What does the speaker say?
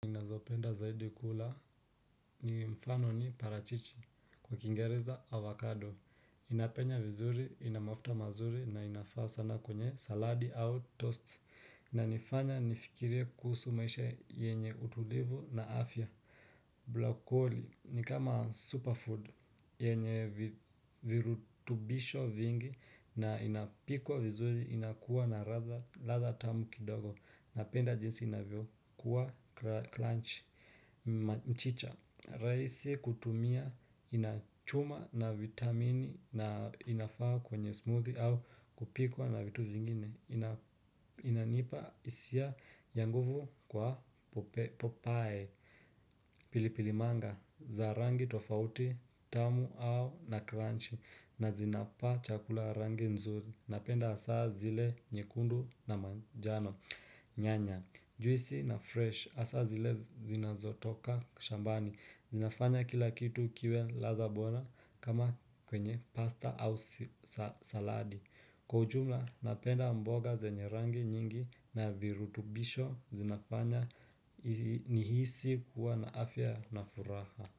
Ninazopenda zaidi kula ni mfano ni parachichi kwa kingereza avocado. Inapenya vizuri, ina mafuta mazuri na inafaa sana kwenye saladi au toast. Na inifanya nifikirie kuhusu maisha yenye utulivu na afya. Blokoli ni kama superfood yenye virutubisho vingi na inapikwa vizuri inakuwa na radha tamu kidogo. Napenda jinsi inavyo kuwa kranchi mchicha raisi kutumia inachuma na vitamini na inafaa kwenye smoothie au kupikwa na vitu zingine. Inanipa hisia ya nguvu kwa popae. Pilipilimanga za rangi tofauti tamu au na kranchi nazinapa chakula rangi nzuri. Napenda saa zile nyekundu na manjano. Nyanya, juisi na fresh asa zinazotoka shambani. Zinafanya kila kitu kiwe ladha bora kama kwenye pasta au saladi. Kwa ujumula, napenda mboga zenye rangi nyingi na virutubisho. Zinafanya nihisi kuwa na afya na furaha.